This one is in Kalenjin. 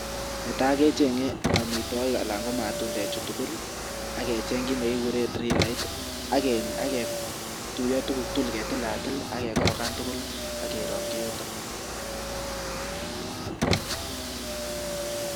Netai kechenge amitwokik anan matundechu tugul ak kecheng kiiy ne kikure drilait ak ketuiyo tuguk tugul ketilatil ak korokan tugul akerongchi yutok any.